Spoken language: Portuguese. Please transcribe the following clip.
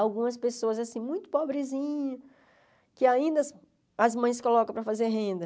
Algumas pessoas assim, muito pobrezinhas, que ainda as as mães colocam para fazer renda.